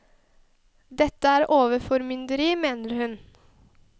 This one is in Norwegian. Dette er overformynderi, mener hun.